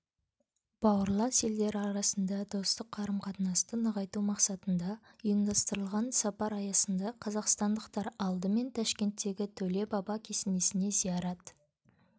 бауырлас елдер арасында достық қарым-қатынасты нығайту мақсатында ұйымдастырылған сапар аясында қазақстандықтар алдыменташкенттегі төле баба кесенесіне зиярат